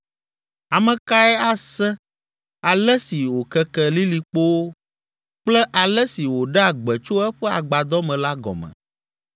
Ame kae ase ale si wòkeke lilikpowo, kple ale si wòɖea gbe tso eƒe agbadɔ me la gɔme?